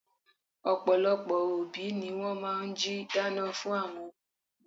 Ọ̀pọ̀lọpọ̀ obi ni wọ́n máa n jí dáná fun àwọn n omo wọn